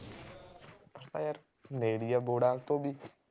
ਅੱਛਾ ਯਾਰ ਨੇੜੇ ਹੀ ਆ ਬੋਹੜਾਂ ਤੋਂ ਵੀ